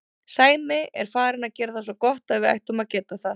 Sæmi er farinn að gera það svo gott að við ættum að geta það.